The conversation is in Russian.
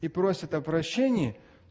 и просит о прощении